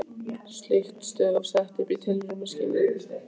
Slík stöð var sett upp í tilraunaskyni í